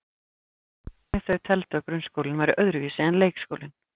Jafnframt hvernig þau teldu að grunnskólinn væri öðruvísi en leikskólinn.